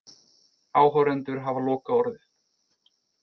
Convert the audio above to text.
Áhorfendur hafa lokaorðið